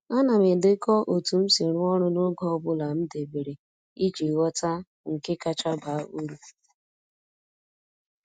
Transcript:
A na m edekọ otu m si rụọ ọrụ n’oge ọ bụla m debere iji ghọta nke kacha baa uru.